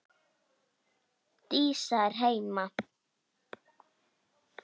Dísa er heima!